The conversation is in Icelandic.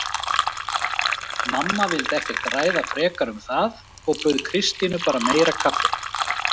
Mamma vildi ekkert ræða frekar um það og bauð Kristínu bara meira kaffi.